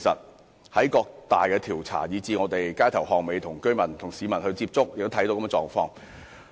我們在各大調查，以至在街頭巷尾與市民接觸時，都看到這種狀況。